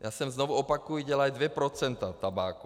Já jsem, znovu opakuji, dělají dvě procenta tabáku.